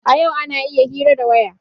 A yau ana iya hira ta waya.